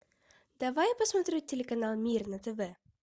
давай я посмотрю телеканал мир на тв